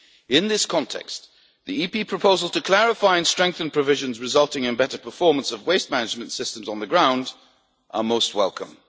In this context, Parliament's proposals to clarify and strengthen provisions resulting in better performance of waste management systems on the ground are most